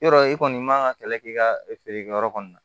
Yɔrɔ i kɔni man ka kɛlɛ k'i ka feere kɛyɔrɔ kɔni na